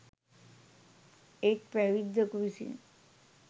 එක් පැවිද්දකු විසින්